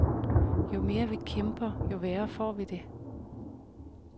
Jo mere vi kæmper, jo værre får vi det.